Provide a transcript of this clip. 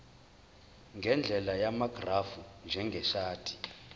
ngendlela yamagrafu njengeshadi